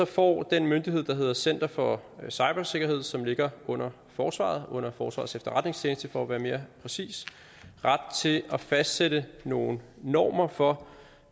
får den myndighed der hedder center for cybersikkerhed som ligger under forsvaret under forsvarets efterretningstjeneste for at være mere præcis ret til at fastsætte nogle normer for